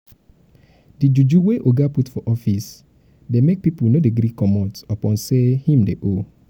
di juju wey oga put for office dey make pipu no dey gree comot upon sey him dey owe.